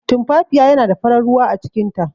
Tumfafiya yana da farar ruwa acikin ta.